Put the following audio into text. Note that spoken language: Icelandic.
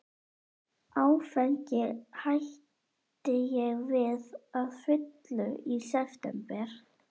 Áfengi hætti ég við að fullu í september